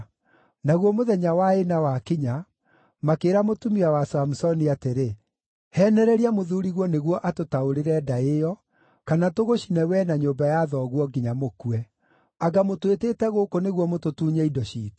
Naguo mũthenya wa ĩna wakinya, makĩĩra mũtumia wa Samusoni atĩrĩ, “Heenereria mũthuuriguo nĩguo atũtaũrĩre ndaĩ ĩyo, kana tũgũcine wee na nyũmba ya thoguo nginya mũkue. Anga mũtwĩtĩte gũkũ nĩguo mũtũtunye indo ciitũ?”